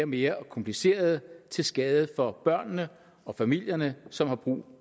mere komplicerede til skade for børnene og familierne som har brug